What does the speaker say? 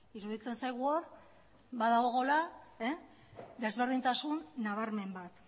iruditzen zaigu hor badagoela desberdintasun nabarmen bat